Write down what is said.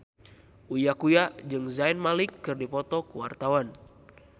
Uya Kuya jeung Zayn Malik keur dipoto ku wartawan